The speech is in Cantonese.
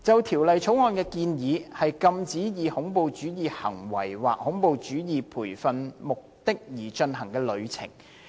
《條例草案》建議禁止以恐怖主義行為或恐怖主義培訓為目的而進行的旅程。